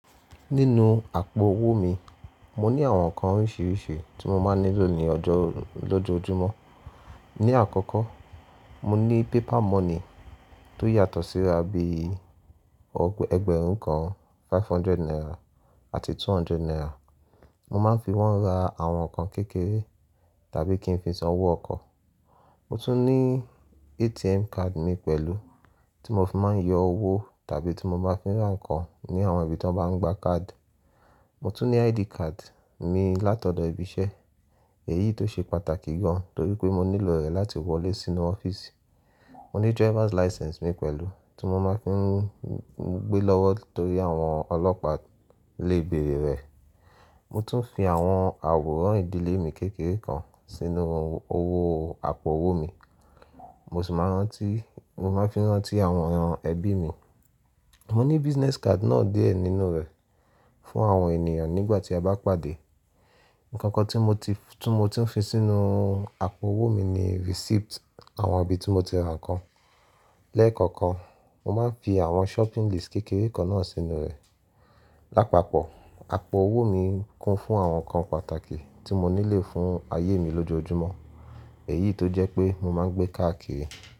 Nínú àpò owó mi, mo ní àwọn nǹkan oríṣiríṣi tí mo máa ń nílò ní ọjọ́, lójoojúmọ́. Ni àkọ́kọ́, mo ní paper money tó yàtọ̀ síra bí i ẹgbẹ̀rún kan, five hundred naira àti two hundred naira. Mo máa ń fi wọ́n ra àwọn nǹkan kékeré tàbí kí n fi san owó ọkọ̀. Mo tún ní ATM card mi pẹ̀lú tí mo fi máa ń yọ owó tàbí tí mo bá máa fi ra nǹkan ní àwọn ibi tí wọ́n bá ń gba káàdì. Mo tún ní ID card mi látọ̀dọ̀ ibi iṣẹ́, èyí tó ṣe pàtàkì gan, torí pé mo nílò rẹ̀ láti wọlé sínú ọ́fíìsì. Mo ní driver's license mi pẹ̀lú tí mo máa ń fi gbe lọ́wọ́ torí àwọn ọlọ́pàá lè béèrè rẹ̀. Mo tún fi àwọn àwòrán ìdílé mi kékeré kan sínú owó àpò owó mi, mo sì máa ń rántí, mo máa ń fi rántí àwọn ẹbí mi. Mo ní business card náà díẹ̀ nínú rẹ̀ fún àwọn ènìyàn nígbà tí a bá pàdé. Ǹkankan tí mo ti, tí mo ti ń fi sínú àpò owó mi ni receipt àwọn ibi tí mo ti ra nǹkan. Lẹ́ẹ̀kọ̀kan, mo máa ń fi àwọn shopping list kékeré kan náà sínú rẹ̀. Lápapọ̀, àpò owó mi kún fún àwọn nǹkan pàtàkì tí mo nílò fún ayé mi lójoojúmọ́, èyí tó jẹ́ pé mo máa ń gbé káàkiri.